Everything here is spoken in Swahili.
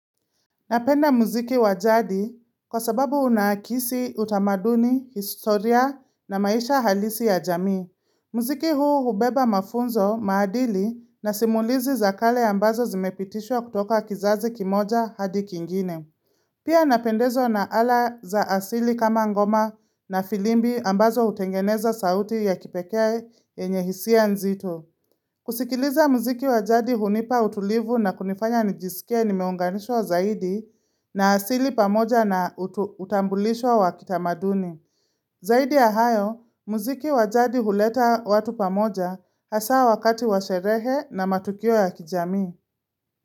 Napenda muziki wajadi kwa sababu unaakisi utamaduni, historia na maisha halisi ya jamii. Muziki huu ubeba mafunzo, maadili na simulizi za kale ambazo zimepitishwa kutoka kizazi kimoja hadi kingine. Pia napendezwa na ala za asili kama ngoma na filimbi ambazo hutengeneza sauti ya kipekee yenye hisia nzito. Kusikiliza muziki wajadi hunipa utulivu na kunifanya nijisikie nimeunganishwa zaidi na asili pamoja na utambulisho wa kitamaduni. Zaidi ya hayo, muziki wajadi huleta watu pamoja hasa wakati washerehe na matukio ya kijami.